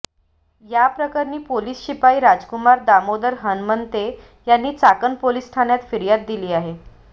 याप्रकरणी पोलीस शिपाई राजकुमार दामोदर हणमंते यांनी चाकण पोलीस ठाण्यात फिर्याद दिली आहे